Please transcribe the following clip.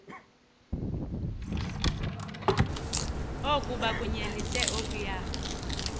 oku bakunyelise okuya